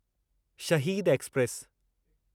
शहीद एक्सप्रेस